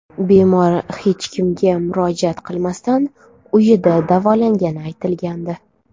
Bemor hech kimga murojaat qilmasdan uyida davolangani aytilgandi.